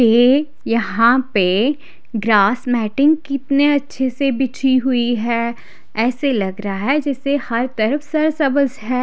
ये यहां पे ग्रास मेटिंग कितने अच्छे से बिछी हुई है ऐसे लग रहा है जैसे हर तरफ है।